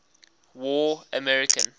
war american